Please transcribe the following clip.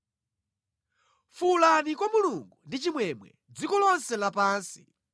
Fuwulani kwa Mulungu ndi chimwemwe, dziko lonse lapansi!